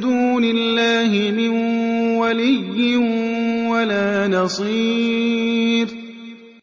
دُونِ اللَّهِ مِن وَلِيٍّ وَلَا نَصِيرٍ